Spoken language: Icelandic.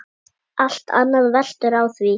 Allt annað veltur á því.